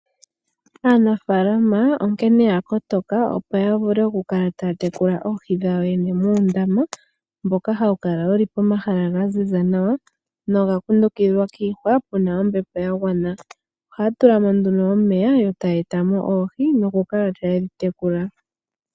Aanafaalama onkene oya kotoka opo ya vule okukala taya tekula oohi dhayo yene muundama mboka hawu kala wuli pomahala ga ziza nawa noga kundukidhwa kiihwa, pu na ombepo ya gwana. Ohaya tula mo nduno omeya yo taya eta mo oohi, nokukala taye dhi tekula.